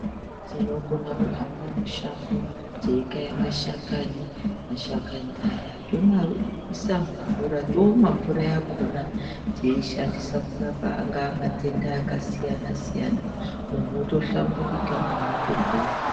Tinokona kuhamba mushango teikaya mashakani mashakani aya tomaisa mumvura tomwa mvura yakhona teishandisa kurapa angaa matenda akasiyana siyana muntu otohlamburika muntu otopora.